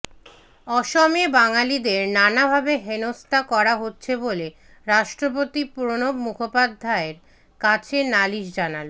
অসমে বাঙালিদের নানা ভাবে হেনস্থা করা হচ্ছে বলে রাষ্ট্রপতি প্রণব মুখোপাধ্যায়ের কাছে নালিশ জানাল